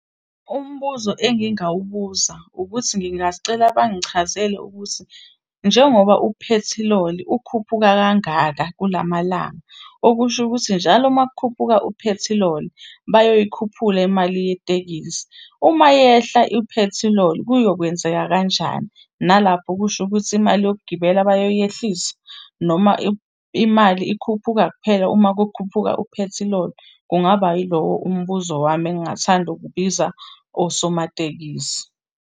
Umbuzo engingawubuza ukuthi ngingasicela bangichazele ukuthi njengoba uphethiloli ukhuphuka kangaka kulamalanga, okusho ukuthi njalo uma kukhuphuka uphethiloli bayoyikhuphula imali yetekisi. Uma yehla iphethiloli, kuyokwenzeka kanjani? Nalapho kusho ukuthi imali yokugibela bayoyehlisa? Noma imali ikhuphuka kuphela uma kukhuphuka uphethiloli? Kungaba yilowo umbuzo wami engingathanda ukubiza osomatekisi.